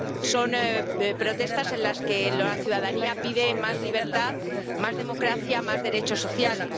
son protestas en las que la ciudadanía pide más libertad, más democracia, más derechos sociales.